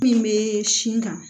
Min bɛ sin kan